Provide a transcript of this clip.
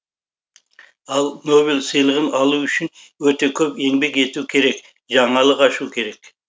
ал нобель сыйлығын алу үшін өте көп еңбек ету керек жаңалық ашу керек